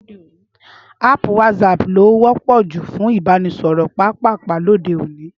Áàpù WhatsApp ló wọ́pọ̀ jù fún ìbánisọ̀rọ̀ pápàpá lóde òní